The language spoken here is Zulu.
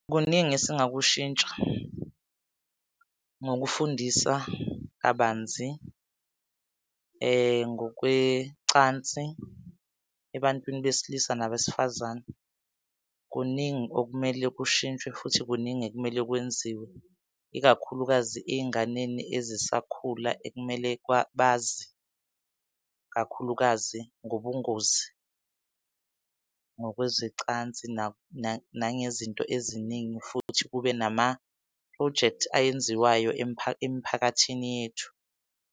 Kuningi esingakushintsha ngokufundisa kabanzi, ngokwecansi ebantwini besilisa nabesifazane. Kuningi okumele kushintshwe futhi kuningi ekumele kwenziwe, ikakhulukazi ey'nganeni ezisakhula ekumele bazi kakhulukazi ngobungozi ngokwezecansi nangezinto eziningi. Futhi kube nama-projects ayenziwayo emiphakathini yethu.